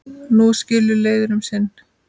Nú skilur leiðir um sinn.